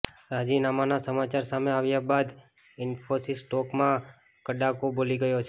રાજીનામાનાં સમાચાર સામે આવ્યા બાદ ઇન્ફોસિસના સ્ટોકમાં કડાકો બોલી ગયો છે